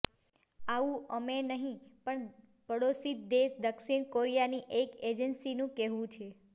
આવું અમે નહીં પણ પાડોશી દેશ દક્ષિણ કોરિયાની એક એજંસીનું કહેવું છે